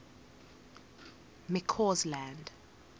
mccausland